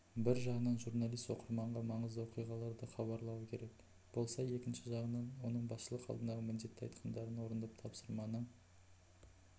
бір жағынан журналист оқырманға маңызды оқиғаларды хабарлауы керек болса екінші жағынан оның басшылық алдындағы міндеті айтқандарын орындап тапсырманы